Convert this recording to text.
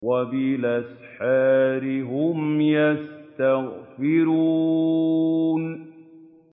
وَبِالْأَسْحَارِ هُمْ يَسْتَغْفِرُونَ